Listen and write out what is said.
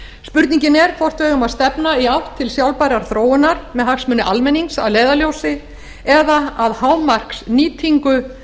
spurningin er hvort við eigum að stefna í átt til sjálfbærrar þróunar með hagsmuni almennings að leiðarljósi eða að hámarksnýtingu